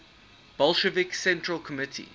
bolshevik central committee